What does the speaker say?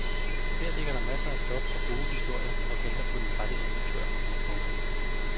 Her ligger der masser af stof og gode historier og venter på den rette instruktør. punktum